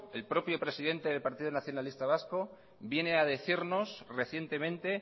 el propio presidente del partido nacionalista vasco viene a decirnos recientemente